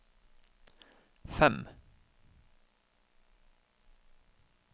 fem